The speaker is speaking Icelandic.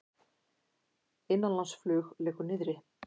Innanlandsflug liggur niðri